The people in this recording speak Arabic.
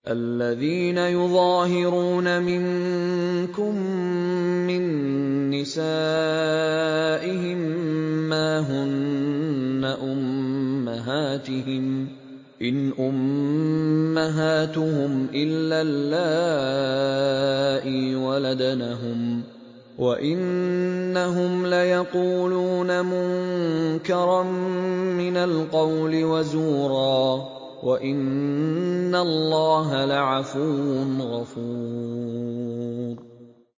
الَّذِينَ يُظَاهِرُونَ مِنكُم مِّن نِّسَائِهِم مَّا هُنَّ أُمَّهَاتِهِمْ ۖ إِنْ أُمَّهَاتُهُمْ إِلَّا اللَّائِي وَلَدْنَهُمْ ۚ وَإِنَّهُمْ لَيَقُولُونَ مُنكَرًا مِّنَ الْقَوْلِ وَزُورًا ۚ وَإِنَّ اللَّهَ لَعَفُوٌّ غَفُورٌ